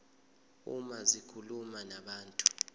uma zikhuluma nabantu